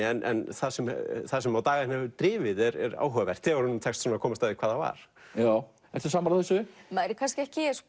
en það sem það sem á daga hennar hefur drifið er áhugavert þegar honum tekst að komast að því hvað það var ertu sammála þessu maður er ekki